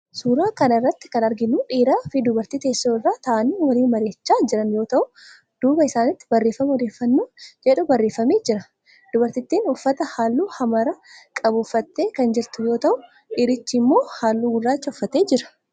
Suuraa kana irratti kan arginu dhiiraa fi dubartii teessoo irra ta'aanii waliin mari'achaa jiran yoo ta'u duubaa isaaniitti barreeffama odeeffannoo jedhu barreeffamee jira. Dubartittiin uffata halluu hamara qabu uffattee kan jirtuu yoo ta'u dhiirtichi immoo halluu gurraacha uffatee jira.